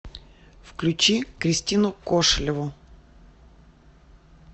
включи кристину кошелеву